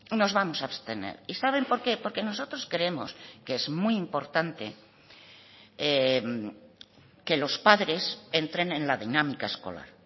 nos vamos a abstener y saben por qué porque nosotros creemos que es muy importante que los padres entren en la dinámica escolar